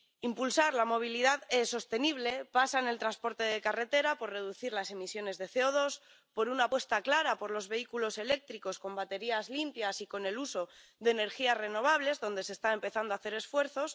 Impulsar la movilidad sostenible pasa en el transporte de carretera por reducir las emisiones de CO2, por una apuesta clara por los vehículos eléctricos, con baterías limpias y con el uso de energías renovables, donde se está empezando a hacer esfuerzos.